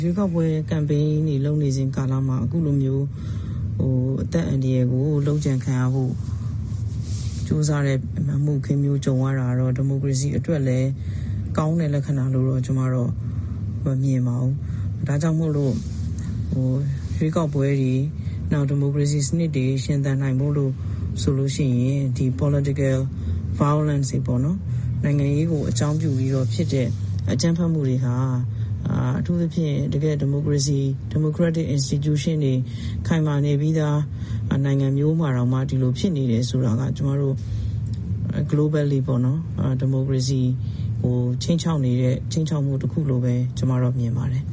ရွေးကောက်ပွဲ ကမ်ပိန်းတွေလုပ်နေစဉ်ကာလမှာ အခုလိုမျိုး အသက်အန္တရယ်ကို လုပ်ကြံခံရဖို့ ကြိုးစားတဲ့ အမှုအခင်းမျိုးကြုံရတာတော့ ဒီမိုကရေစီအတွက်လည်း ကောင်းတဲ့လက္ခဏာလို့တော့ ကျွန်မတော့ မမြင်ပါဘူး။ ဒါကြောင့်မို့ ရွေးကောက်ပွဲတွေ နောက်ဒီမိုကရေစီစနစ်တွေ ရှင်သန်ဖို့အတွက်ဆိုရင် ဒီ Political Violence နိုင်ငံရေးကိုအကြောင်းပြုဖြစ်တဲ့ အကြမ်းဖက်မှုတွေဟာ အထူးသဖြင့် ဒီမိုကရက်တစ်အင်စတီကျူးရှင်းတွေ ခိုင်မာနေပြီးသားနိုင်ငံမျိုးမှာတောင်မှ ဒီလိုတွေဖြစ်နေတယ်ဆိုတာက ကျွန်မတို့ Globally ပေါ့နော် ဒီမိုကရေစီကိုခြိမ်းခြောက်နေတဲ့ ခြိမ်းခြောက်မှုတခုလို့ပဲ ကျွန်မတော့မြင်ပါတယ်